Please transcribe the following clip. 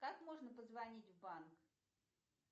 как можно позвонить в банк